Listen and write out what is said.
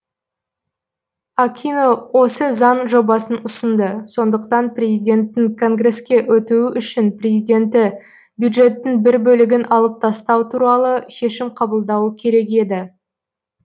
акино осы заң жобасын ұсынды сондықтан президенттің конгреске өтуі үшін президенті бюджеттің бір бөлігін алып тастау туралы шешім қабылдауы керек еді